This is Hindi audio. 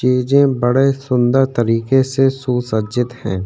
के जे बड़े सुन्दर तरिके से सुसज्जित है।